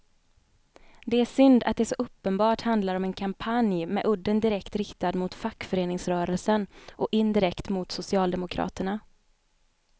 Det är synd att det så uppenbart handlar om en kampanj med udden direkt riktad mot fackföreningsrörelsen och indirekt mot socialdemokraterna.